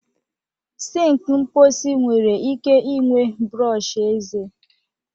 Sink mposi nwere ike ịnwe brọsh eze